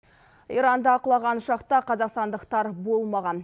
иранда құлаған ұшақта қазақстандықтар болмаған